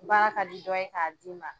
Baara kadi dɔ ye k'a d'i ma,